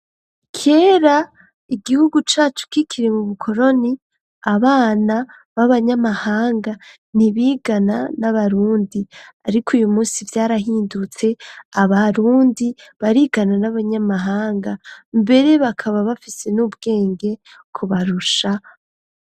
Kera igihugu cacu kikiri mu bukoloni, abana b'abanyamahanga ntibigana n'abarundi. Ariko uy'umunsi vyarahindutse, abarundi barigana n'abanyamahanga, mbere bakaba bafise n'ubwenge kubarusha.